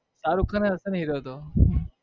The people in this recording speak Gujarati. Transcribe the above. શારુખ ખાન હશેને hero હતો.